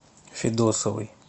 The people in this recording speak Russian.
федосовой